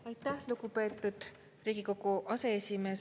Aitäh, lugupeetud Riigikogu aseesimees!